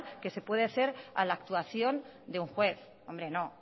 que se puede ser a la actuación de un juez hombre no